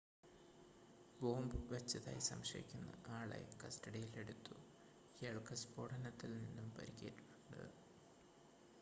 bomb വച്ചതായി സംശയിക്കുന്ന ആളെ കസ്‌റ്റഡിയിൽ എടുത്തു ഇയാൾക്ക് സ്ഫോടനത്തിൽ നിന്നും പരിക്കേറ്റിട്ടുണ്ട്